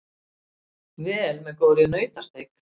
vel með góðri nautasteik.